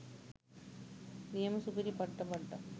නියම සුපිරි පට්ට බඩ්ඩක්.